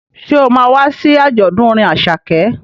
Ṣé o ma wá sí àjọ̀dún orin Àṣàkẹ́?